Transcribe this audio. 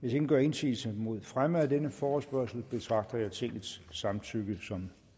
hvis ingen gør indsigelse mod fremme af denne forespørgsel betragter jeg tingets samtykke som